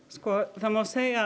það má segja að